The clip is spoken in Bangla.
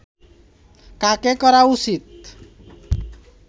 কাকে করা উচিত